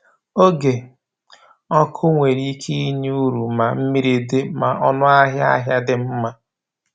Oge ọkụ nwere ike inye uru ma mmiri dị ma ọnụahịa ahịa dị mma.